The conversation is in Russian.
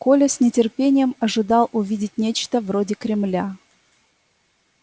коля с нетерпением ожидал увидеть нечто вроде кремля